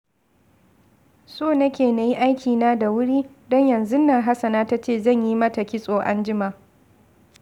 So nake na yi aikina da wuri, don yanzun nan Hasana ta ce zan yi mata kitso an jima